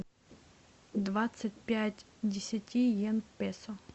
двадцать пять десяти йен песо